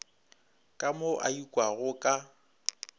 ka mo a ikwago ka